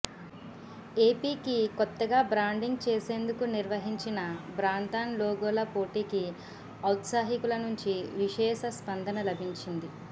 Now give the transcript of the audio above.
ఏపీకి కొత్తగా బ్రాండింగ్ చేసేందుకు నిర్వహించిన బ్రాండ్థాన్ లోగోల పోటీకి ఔత్సాహికుల నుంచి విశేష స్పందన లభించింది